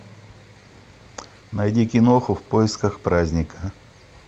найди киноху в поисках праздника